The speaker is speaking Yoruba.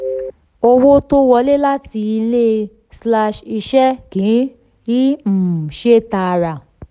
owó tó wọlé láti ilé um slash um iṣẹ́ kì í um ṣe tààrà.